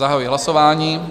Zahajuji hlasování.